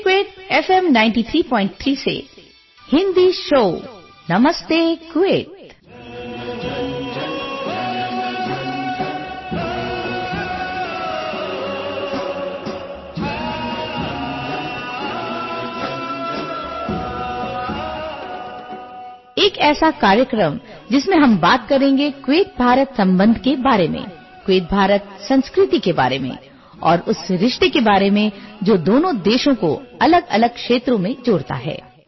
audio clip